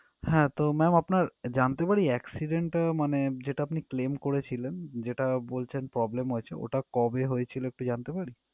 হ্যাঁ তো mam আপনার জানতে পারি accident টা মানে যেটা আপনি claim করেছিলেন যেটা বলছেন problem হয়েছে ওটা কবে হয়েছিল একটু জানতে পারি?